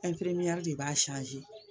de b'a